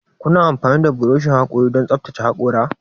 Kuna amfani da burushin hakori don tsaftace hakora?